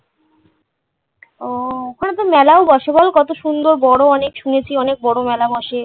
ওহ। ওখানে তো মেলাও বসে বল কত সুন্দর, বড় অনেক। শুনেছি অনেক বড় মেলা বসে।